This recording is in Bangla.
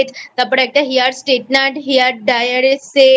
তারপর একটা Hair Straightnerhair Dryer এর Set